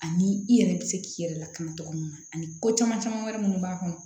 Ani i yɛrɛ bɛ se k'i yɛrɛ lakana cogo mun na ani ko caman caman wɛrɛ minnu b'a kɔnɔ